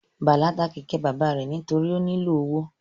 Bala ta kẹkẹ baba rẹ nitori o nilo owo